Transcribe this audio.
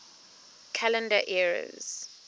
calendar eras